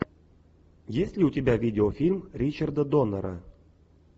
есть ли у тебя видеофильм ричарда доннера